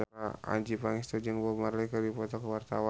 Adjie Pangestu jeung Bob Marley keur dipoto ku wartawan